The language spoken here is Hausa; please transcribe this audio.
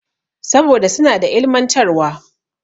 Saboda suna da ilimantarwa.